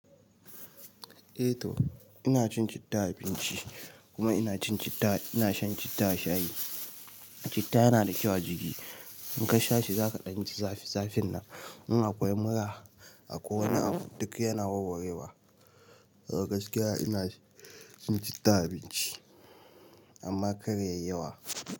Eh to ina cin citta a abinci kuma ina shan citta a shayi. Citta yana da kyau a jiki. In ka sha shi za ka ɗanji zafi zafin nan. In akwai mura akwai wani abu duk yana warwarewa. Gaskiya ina cin citta a abinci amma kar yayi yawa.